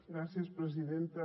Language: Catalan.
gràcies presidenta